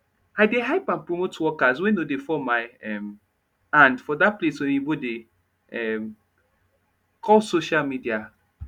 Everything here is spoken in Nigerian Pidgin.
i dey hype and promote workers wey nor dey fall my um hand for dat place oyibo dey um [Space] call social media